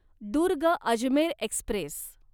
Durg Ajmer Express